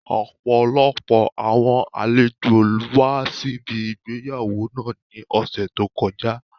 Ọpọlọpọ awọn alejo wa sibi ìgbéyàwó naa ni ọsẹ to kọja.